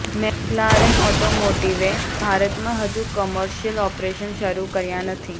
McLaren ઑટોમોટિવે ભારતમાં હજુ કોમર્શિયલ ઑપરેશન્સ શરૂ કર્યા નથી